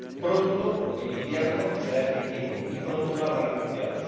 Pronto el invierno será efectivo y pronto no habrá refugiados.